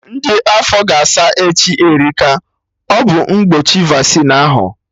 Ndị afọ ga-asa echi Erika, ọ bụ mgbochi Vaccine ahụ